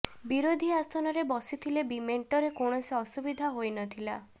ବିରୋଧୀ ଆସନରେ ବସିଥିଲେ ବି ମେଣ୍ଟରେ କୌଣସି ଅସୁବିଧା ହୋଇ ନଥିଲା